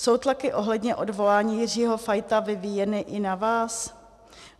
Jsou tlaky ohledně odvolání Jiřího Fajta vyvíjeny i na vás?